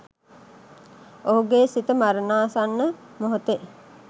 ඔහුගේ සිත මරණාසන්න මොහොතේ